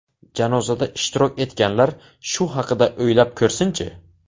Janozada ishtirok etganlar shu haqida o‘ylab ko‘rsinchi.